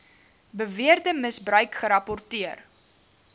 beweerde misbruik gerapporteer